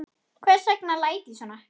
Hvers vegna læt ég svona?